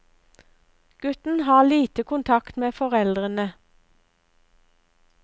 Gutten har lite kontakt med foreldrene.